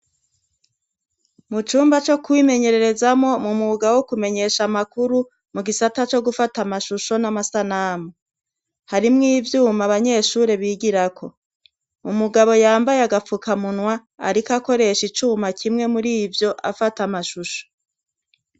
Mu cumba co kwimenyerezamo mu mugao wo kumenyesha amakuru mu gisata cyo gufata amashusho n'amasanamu harimw ibyuma abanyeshuri bigira ko mu mugabo yambaye agapfukamunwa ariko akoresha icuma kimwe muri ibyo afata amashusho.